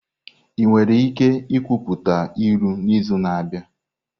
Ị nwere ike ikwuputa ilu n'izu na-abịa?